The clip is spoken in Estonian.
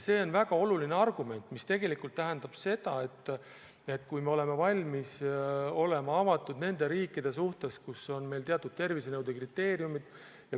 See on väga oluline argument, mis tähendab, et me võiksime olla valmis olema avatud nende riikide suhtes, kus on teatud tervisenõuete kriteeriumid.